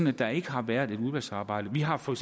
at der ikke har været et udvalgsarbejde vi har for